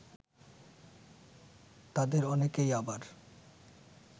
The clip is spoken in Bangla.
তাদের অনেকেই আবার